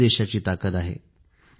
हीच देशाची ताकद आहे